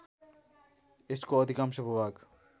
यसको अधिकांश भूभाग